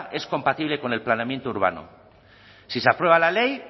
es compatible con el planeamiento urbano si se aprueba la ley